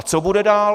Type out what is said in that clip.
A co bude dál?